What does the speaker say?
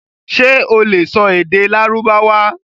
Ṣé o lè sọ èdè Lárúbáwá?